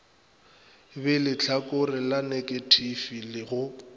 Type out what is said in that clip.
be lehlakore la neketifi go